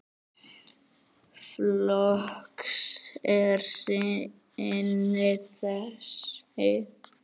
Flokks er sinni þessi maður.